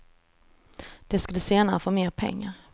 De skulle senare få mer pengar.